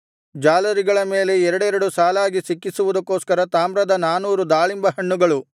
ಜಾಲರಿಗಳ ಮೇಲೆ ಎರಡೆರಡು ಸಾಲಾಗಿ ಸಿಕ್ಕಿಸುವುದಕ್ಕೋಸ್ಕರ ತಾಮ್ರದ ನಾನೂರು ದಾಳಿಂಬಹಣ್ಣುಗಳು